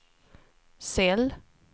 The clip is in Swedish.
cell